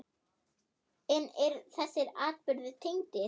En eru þessir atburðir tengdir?